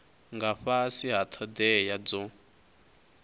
nga fhasi ha thodea dzo